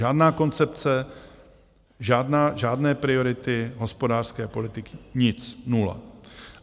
Žádná koncepce, žádné priority hospodářské politiky, nic, nula.